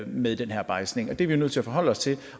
med den her bejdsning det er vi nødt til at forholde os til